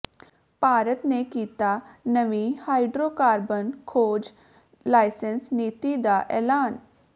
ਭਾਰਤ ਨੇ ਕੀਤਾ ਨਵੀਂ ਹਾਈਡ੍ਰੋਕਾਰਬਨ ਖੋਜ ਲਾਇਸੈਂਸ ਨੀਤੀ ਦਾ ਐਲਾਨ